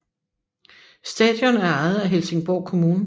Stadion er ejet af Helsingborg kommun